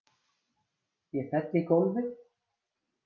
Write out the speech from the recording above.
Ég fell í gólfið.